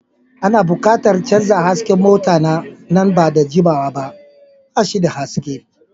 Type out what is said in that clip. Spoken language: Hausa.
Ana buƙatar canza hasken mota na nan ba da jimawa ba, ba shi da haske.